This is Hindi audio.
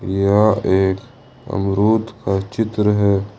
यह एक अमरूद का चित्र है।